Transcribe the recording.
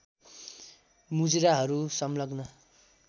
मुजुराहरू संलग्न